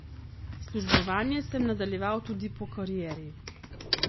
Službovanje sem nadaljeval tudi po karieri.